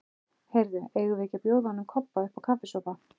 Heyrðu, eigum við ekki að bjóða honum Kobba uppá kaffisopa?